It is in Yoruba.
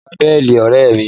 Lọ gba béèlì ọ̀rẹ́ rẹ!